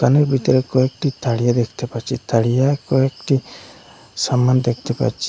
দোকানের ভিতরে কয়েকটি থারিয়া দেখতে পাচ্ছি থারিয়া কয়েকটি সামান দেখতে পাচ্ছি।